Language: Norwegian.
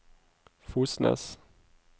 Fosnes